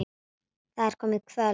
Það er komið kvöld.